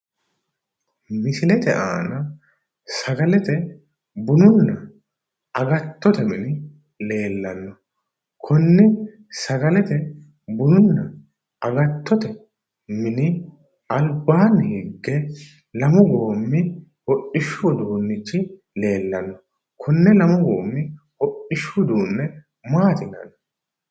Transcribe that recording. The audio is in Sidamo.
Misilete aana sagalete, bununna agattote mini leellanno. Konne sagalete, bununna agattote mini albaanni higge lamu goommi hodhishshu uduunnichi leellanno. Konne lamu goommi hodhishshu uduunne maati yinanni?